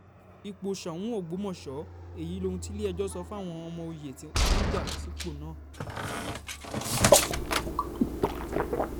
ipò sóun ọgbọ́mọṣẹ́ èyí lohun tilé-ẹjọ́ sọ fáwọn ọmọ òye tó ń já sípò náà